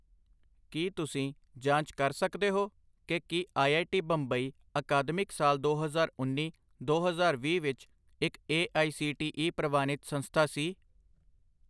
ਕੀ ਤੁਸੀਂ ਜਾਂਚ ਕਰ ਸਕਦੇ ਹੋ ਕਿ ਕੀ ਆਈ.ਆਈ.ਟੀ ਬੰਬਈ ਅਕਾਦਮਿਕ ਸਾਲ ਦੋ ਹਜ਼ਾਰ ਉੰਨੀ ਦੋ ਹਜ਼ਾਰ ਵੀਹ ਵਿੱਚ ਇੱਕ A I C T E ਪ੍ਰਵਾਨਿਤ ਸੰਸਥਾ ਸੀ?